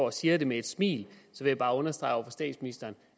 og siger det med et smil vil jeg bare understrege over for statsministeren